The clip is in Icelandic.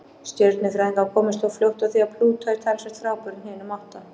Stjörnufræðingar komust þó fljótt að því að Plútó er talsvert frábrugðinn hinum átta.